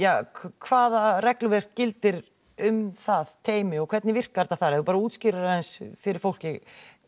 hvaða regluverk gildir um það teymi og hvernig virkar það ef þú útskýrir aðeins fyrir fólki